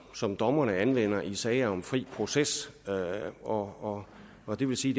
som dommerne anvender i sager om fri proces og og det vil sige